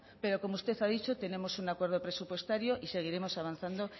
pero como usted ha dicho tenemos un acuerdo presupuestario y seguiremos avanzando